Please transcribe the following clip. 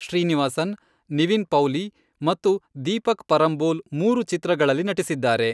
ಶ್ರೀನಿವಾಸನ್, ನಿವಿನ್ ಪೌಲಿ ಮತ್ತು ದೀಪಕ್ ಪರಂಬೋಲ್ ಮೂರು ಚಿತ್ರಗಳಲ್ಲಿ ನಟಿಸಿದ್ದಾರೆ.